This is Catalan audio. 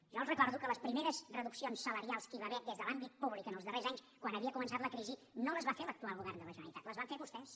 jo els recordo que les primeres reduccions salarials que hi va haver des de l’àmbit públic en els darrers anys quan havia començat la crisi no les va fer l’actual govern de la generalitat les van fer vostès